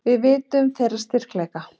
Við vitum þeirra styrkleika.